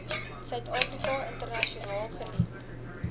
suidafrika internasionaal geniet